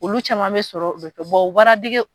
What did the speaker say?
Olu caman bɛ sɔrɔ bɔ